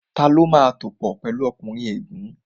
Tani ó máa tòpò pẹ̀lu ọkùnrin ègún?